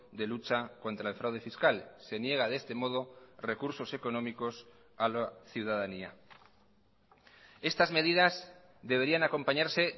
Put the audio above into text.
de lucha contra el fraude fiscal se niega de este modo recursos económicos a la ciudadanía estas medidas deberían acompañarse